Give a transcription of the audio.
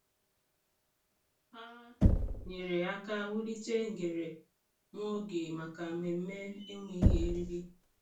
Ha nyere aka wulite ngere nwa oge maka mmemme enweghị eriri.